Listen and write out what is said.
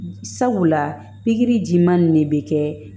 Sabula pikiri jiman nin ne bɛ kɛ